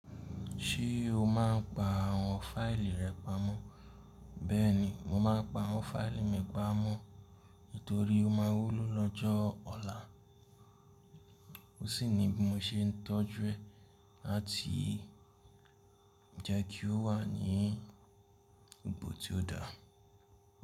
Ṣé o máa ń pa àwọn fáìlì rẹ pamọ́? Bẹ́ẹ̀ni, mo máa ń pa àwọn fáìlì mi pamọ́ nítorí ó máa wúlò lọ́jọ́ ọ̀la. Ó sì ni bí mo ṣe ń tọ́jú ẹ láti jẹ́ kí ó wà ní ibi tí ó dá.